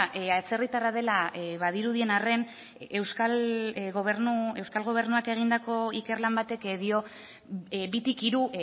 atzerritarra dela badirudien arren euskal gobernuak egindako ikerlan batek dio bitik hiru